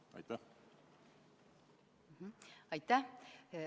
Aitäh!